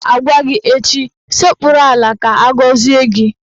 Ọ ga-agwa gị echi "Sekpuru ala ka agọzie gị!